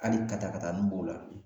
Ali ka taa ka taani b'o la